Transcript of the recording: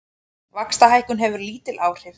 Vaxtahækkun hefur lítil áhrif